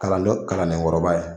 Kalandon kalanen kɔrɔba ye